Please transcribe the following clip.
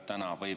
Aitäh!